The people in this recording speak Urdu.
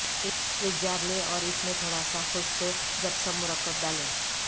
ایک جار لیں اور اس میں تھوڑا سا خشک جپسم مرکب ڈالیں